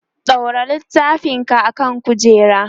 ɗaura littafin ka akan kujera!